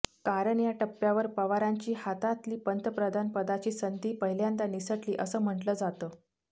कारण या टप्प्यावर पवारांच्या हातातली पंतप्रधानपदाची संधी पहिल्यांदा निसटली असं म्हटलं जातं